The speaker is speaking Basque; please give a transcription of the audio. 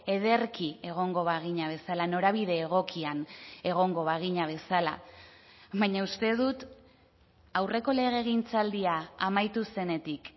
ederki egongo bagina bezala norabide egokian egongo bagina bezala baina uste dut aurreko legegintzaldia amaitu zenetik